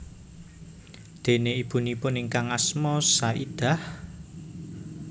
Déné ibunipun ingkang asma Saidah